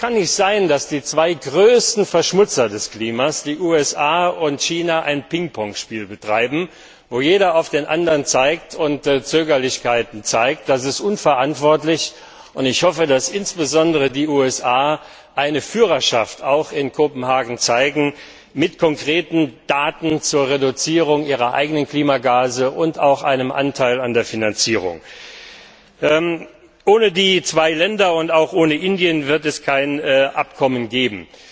Es kann nicht sein, dass die zwei größten Verschmutzer des Klimas, die USA und China, ein Pingpong Spiel betreiben, wo jeder auf den anderen zeigt und Zögerlichkeiten an den Tag legt. Das ist unverantwortlich, und ich hoffe, dass insbesondere die USA auch in Kopenhagen eine Führerschaft zeigen, mit konkreten Daten zur Reduzierung ihrer eigenen Klimagase und auch einem Anteil an der Finanzierung. Ohne diese zwei Länder und ohne Indien wird es kein Abkommen geben.